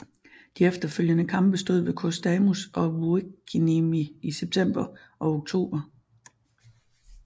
De efterfølgende kampe stod ved Kostamus og Vuokkiniemi i september og oktober